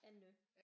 Anne